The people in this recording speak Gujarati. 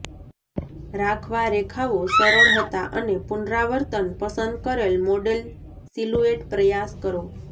રાખવા રેખાઓ સરળ હતા અને પુનરાવર્તન પસંદ કરેલ મોડેલ સિલુએટ પ્રયાસ કરો